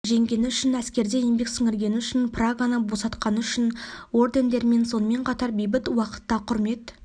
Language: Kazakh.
жеңгені үшін әскерде еңбек сіңіргені үшін праганы босатқаны үшін ордендерімен сонымен қатар бейбіт уақытта құрмет